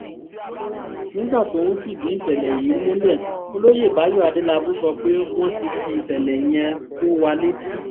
nígbà tó ń fìdí ìṣẹ̀lẹ̀ yìí múlẹ̀ olóyè báyọ̀ adélábù sọ pé wọ́n ti fi ìṣẹ̀lẹ̀ yẹn tó wa létí